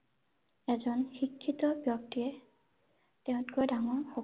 এজন শিক্ষিত ব্যক্তিয়ে তেওঁঁতকৈ ডাঙৰ